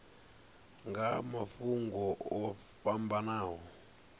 nga ha mafhungo o fhambanaho